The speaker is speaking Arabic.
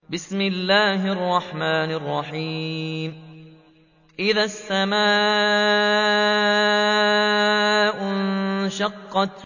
إِذَا السَّمَاءُ انشَقَّتْ